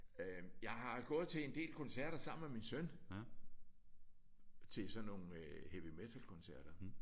Øh jeg har gået til en del koncerter sammen med min søn. Til sådan nogle heavy metal-koncerter